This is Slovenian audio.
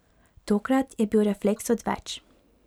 Tokrat je bil refleks odveč.